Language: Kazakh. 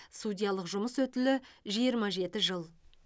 судьялық жұмыс өтілі жиырма жеті жыл